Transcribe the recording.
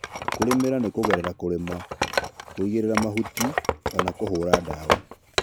kũrĩmĩra nĩ kũgerera kũrĩma, kũĩgĩrĩra mahũtĩ, kana kũhũra dawa